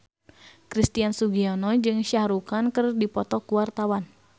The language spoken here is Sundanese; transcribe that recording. Christian Sugiono jeung Shah Rukh Khan keur dipoto ku wartawan